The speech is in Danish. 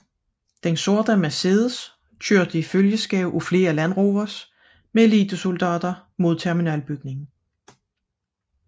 Den sorte Mercedes kørte i følgeskab af flere Land Rovers med elitesoldater mod terminalbygningen